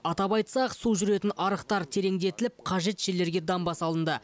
атап айтсақ су жүретін арықтар тереңдетіліп қажет жерлерге дамба салынды